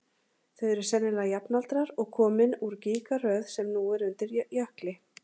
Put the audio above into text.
Þau eru sennilega jafnaldrar og komin úr gígaröð sem nú er undir jökli.